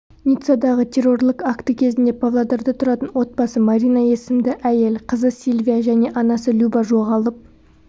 ниццадағы террорлық акті кезінде павлодарда тұратын отбасы марина есімді әйел қызы сильвия және анасы люба жоғалып